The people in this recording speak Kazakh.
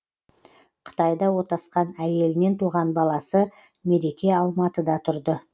қытайда отасқан әйелінен туған баласы мереке алматыда тұрды